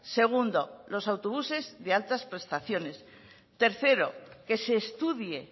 segundo los autobuses de altas prestaciones tercero que se estudie